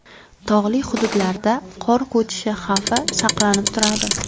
Tog‘li hududlarda qor ko‘chishi xavfi saqlanib turadi.